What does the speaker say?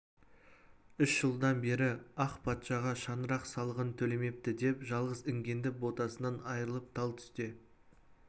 үш жылдан бері ақ патшаға шаңырақ салығын төлемепті деп жалғыз інгенді ботасынан айырып тал түсте